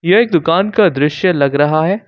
यह एक दुकान का दृश्य लग रहा है।